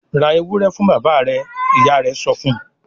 "Ra ewúrẹ́ fún bàbá rẹ̀!" Ìyá rẹ̀ sọ fún un.